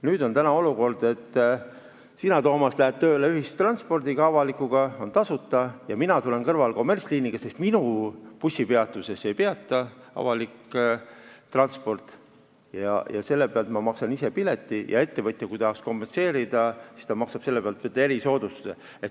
Nüüd on selline olukord, et sina, Toomas, lähed tööle ühistranspordiga, avaliku transpordiga, see on tasuta, kuid mina tulen sealsamas kõrval kommertsliiniga, sest minu bussipeatuses avaliku liini peatust ei ole, ja maksan ise kinni pileti ning kui ettevõtja tahaks seda kompenseerida, siis ta maksaks selle pealt erisoodustusmaksu.